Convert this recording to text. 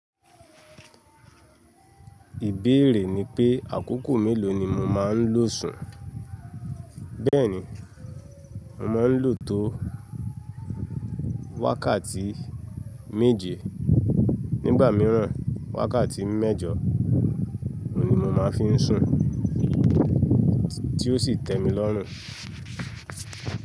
Ìbéèrè ni pé àkókò mélòó ni mo máa ń lo sùn? Bẹ́ẹ̀ni, mo máa ń lo tó wákàtí méje. Nígbà mìíràn, wákàtí méjọ ni mo máa fi ń sùn tí ó sì tẹ́ mi lọ́rùn.